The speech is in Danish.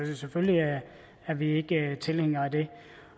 så selvfølgelig er vi ikke tilhængere af det